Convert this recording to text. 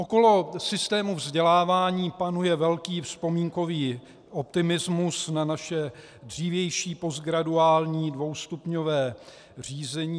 Okolo systému vzdělávání panuje velký vzpomínkový optimismus na naše dřívější postgraduální dvoustupňové řízení.